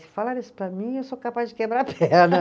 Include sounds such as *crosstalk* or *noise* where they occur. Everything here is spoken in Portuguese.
Se falarem isso para mim, eu sou capaz de quebrar a perna. *laughs*